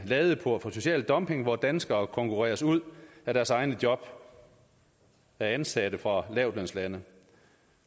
en ladeport for social dumping hvor danskere konkurreres ud af deres egne job af ansatte fra lavtlønslande